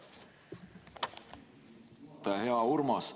Hea Urmas!